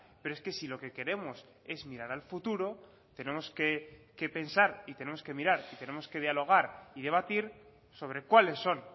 pero es que si lo que queremos es mirar al futuro tenemos que pensar y tenemos que mirar y tenemos que dialogar y debatir sobre cuáles son